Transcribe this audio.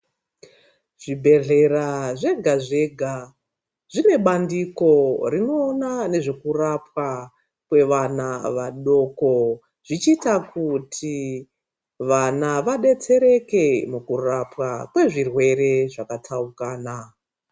Zvibhedhlera zvega zvega zvine bandiko rinoona nezvekurapwa kwevana vadoko zvichiita kuti vana vadetsereke mukurapwa kwezvirwere zvakapaukana.